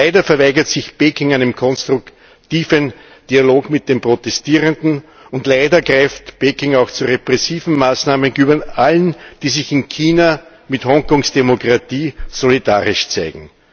Leider verweigert sich Peking einem konstruktiven Dialog mit den Protestierenden, und leider greift Peking auch zu repressiven Maßnahmen gegenüber allen, die sich in China mit Hongkongs Demokratie solidarisch zeigen.